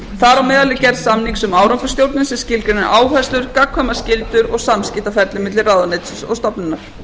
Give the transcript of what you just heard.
meðal er gerð samnings um árangursstjórnun sem skilgreinir áherslur gagnkvæmar skyldur og samskiptaferli milli ráðuneytis og stofnunar